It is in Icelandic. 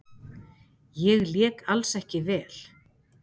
Ég lék alls ekki vel.